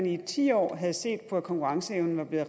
i ti år havde set på at konkurrenceevnen var blevet